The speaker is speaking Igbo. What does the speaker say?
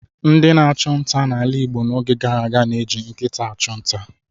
Ndị na-achụ nta n'ala Igbo n'oge gara aga na-eji nkịta achụ nta.